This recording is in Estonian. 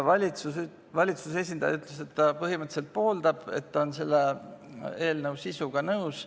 Valitsuse esindaja ütles, et ta põhimõtteliselt pooldab, ta on selle eelnõu sisuga nõus.